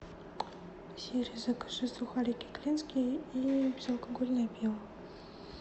сири закажи сухарики клинские и безалкогольное пиво